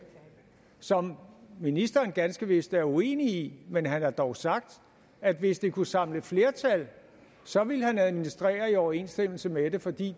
som ministeren ganske vist er uenig i men han har dog sagt at hvis det kunne samle flertal så ville han administrere i overensstemmelse med det fordi